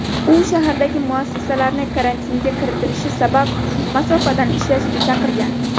U shahardagi muassasalarni karantinga kiritilishi sabab masofadan ishlashga chaqirgan.